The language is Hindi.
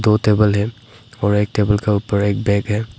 दो टेबल है और एक टेबल का ऊपर एक बैग है।